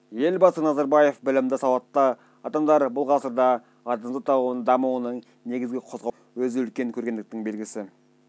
елбасы назарбаев білімді сауатты адамдар-бұл ғасырда адамзат дамуының негізгі қозғаушы күші деуінің өзі-үлкен көргендіктің белгісі